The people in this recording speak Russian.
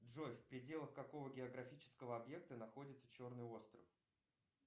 джой в пределах какого географического объекта находится черный остров